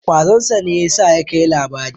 Ƙwazon sa ne ya sa ya kai labari.